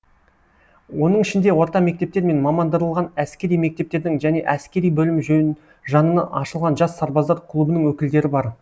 оның ішінде орта мектептер мен мамандырылған әскери мектептердің және әскери бөлім жанынан ашылған жас сарбаздар клубының өкілдері бар